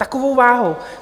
Takovou váhu!